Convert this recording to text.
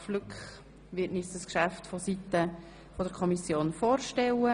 Flück wird uns das Geschäft von Seiten der BaK vorstellen.